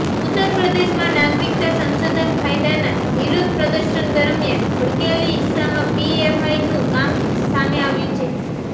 ઉત્તરપ્રદેશમાં નાગરિકતા સંશોધન કાયદાના વિરોધ પ્રદર્શન દરમિયાન ભડકેલી હિંસામાં પીએફઆઇનું કામ સામે આવ્યું છે